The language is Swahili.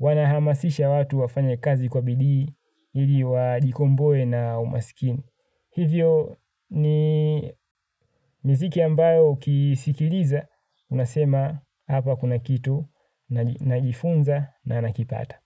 Wanahamasisha watu wafanye kazi kwa bidii ili wajikomboe na umasikini. Hivyo ni miziki ambayo kisikiliza. Unasema hapa kuna kitu. Najifunza na nakipata.